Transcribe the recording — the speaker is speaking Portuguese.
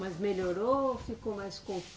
Mas melhorou ou ficou mais